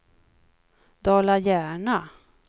Dala-Järna